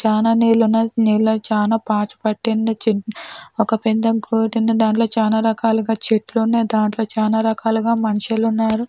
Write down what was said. చానా నీళ్లు ఉన్నాయి. నీళ్లుకు చాలా పాచు పట్టింది. చిన్ ఒక దాంట్లో చాలా రకాలుగా చెట్లు ఉన్నాయి దాంట్లో చాలా రకాలుగా మనుషులు ఉన్నారు.